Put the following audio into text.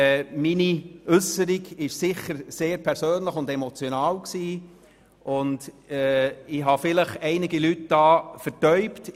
Sie war sicher sehr persönlich und emotional, und ich habe vielleicht einige Leute hier verärgert.